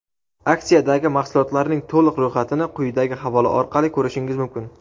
Aksiyadagi mahsulotlarning to‘liq ro‘yxatini quyidagi havola orqali ko‘rishingiz mumkin.